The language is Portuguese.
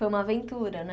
Foi uma aventura, né?